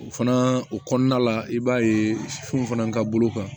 O fana o kɔnɔna la i b'a ye fɛnw fana ka bolo kan